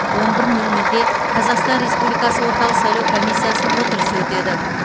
он бір нөл нөлде қазақстан республикасы орталық сайлау комиссиясының отырысы өтеді